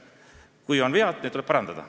Kui on vead, siis need tuleb parandada.